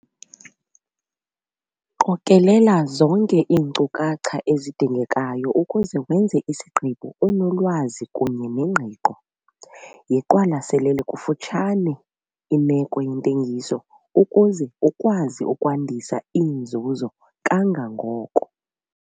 Qokelela zonke iinkcukacha ezidingekayo ukuze wenze isigqibo unolwazi kunye nengqiqo. Yiqwalaselele kufutshane imeko yentengiso ukuze ukwazi ukwandisa iinzuzo kangangoko.